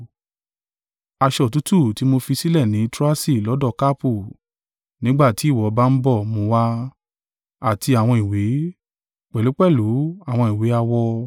Aṣọ òtútù tí mo fi sílẹ̀ ní Troasi lọ́dọ̀ Karpu, nígbà tí ìwọ bá ń bọ̀ mú un wa, àti àwọn ìwé, pẹ̀lúpẹ̀lú àwọn ìwé-awọ.